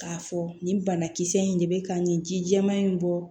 K'a fɔ nin banakisɛ in de bɛ ka nin ji jɛman in bɔ